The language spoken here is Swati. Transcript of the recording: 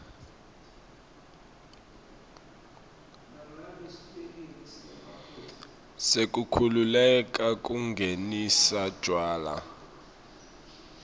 sekukhululeka kungenisa tjwala